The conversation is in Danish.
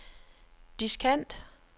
diskant